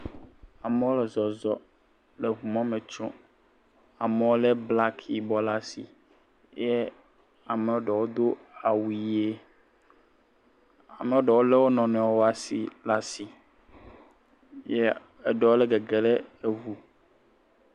Amewo le zɔzɔm le ŋumɔ me tsom. Amewo lé aŋe blaki ɖe asi eye amea ɖewo do awu ʋi. Amea ɖewo lé wonɔnuiwo ƒe asi ye eɖowo le gegem ɖe eŋu.